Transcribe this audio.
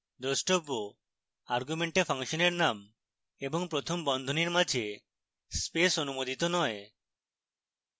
দ্রষ্টব্য: argument ফাংশনের name এবং প্রথম বন্ধনীর মাঝে space অনুমোদিত নয়